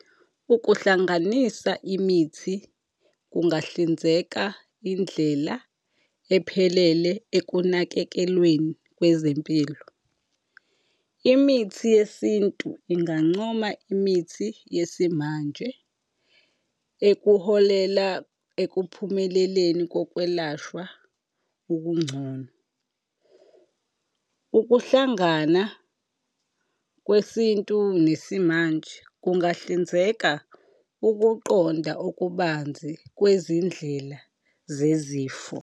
Ukuhlanganisa imithi kungahlinzeka indlela ephelele ekunakekelweni kwezempilo. Imithi yesintu ingancoma imithi yesimanje ekuholela ekuphumeleleni kokwelashwa okungcono. Ukuhlangana kwesintu nesimanje kungahlinzeka ukuqonda okubanzi kwezindlela zezifo.